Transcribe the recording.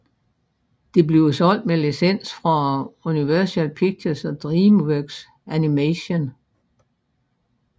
Det bliver solgt med licens fra Universal Pictures og DreamWorks Animation